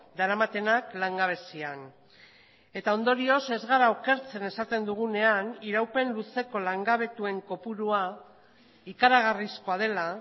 daramatenak langabezian eta ondorioz ez gara okertzen esaten dugunean iraupen luzeko langabetuen kopurua ikaragarrizkoa dela